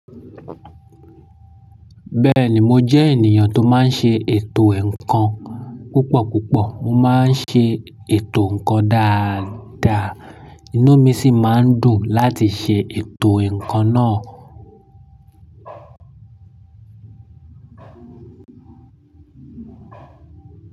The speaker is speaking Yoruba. Bẹ́ẹ̀ni mo jẹ́ ènìyàn tó máa ń ṣe ètò ǹkan. Púpọ̀púpọ̀ mo máa ń ṣe ètò ǹkan dáadáa, inú mi sì máa ń dùn láti ṣe ètò ǹkan náà.